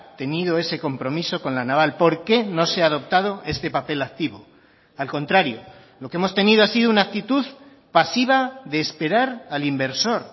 tenido ese compromiso con la naval por qué no se ha adoptado este papel activo al contrario lo que hemos tenido ha sido una actitud pasiva de esperar al inversor